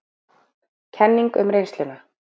Kenning um reynsluna